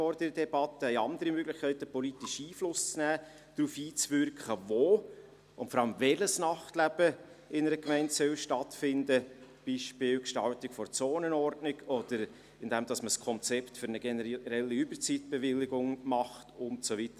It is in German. Es gibt andere Möglichkeiten, politisch Einfluss zu nehmen und darauf einzuwirken, wo und, vor allem, welches Nachtleben in einer Gemeinde stattfinden soll, beispielsweise durch die Gestaltung der Zonenordnung, oder indem man ein Konzept für eine generelle Überzeitbewilligung macht, und so weiter.